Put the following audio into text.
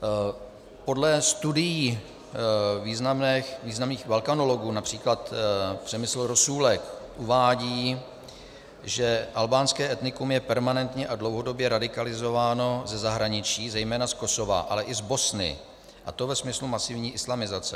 Podle studií významných balkanologů, například Přemysl Rosůlek uvádí, že albánské etnikum je permanentně a dlouhodobě radikalizováno ze zahraničí, zejména z Kosova, ale i z Bosny, a to ve smyslu masivní islamizace.